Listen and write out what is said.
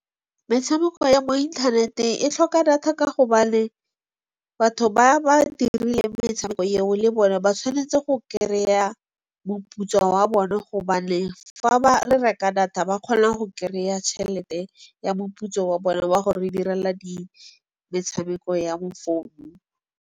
Metshameko ya mo inthaneteng e tlhoka data ka gobane batho ba ba dirileng metshameko eo le bone ba tshwanetse go kry-a moputso wa bone gobane fa ba reka data ba kgona go kry-a tšhelete ya moputso wa bone wa go re direla metshameko ya mo founung.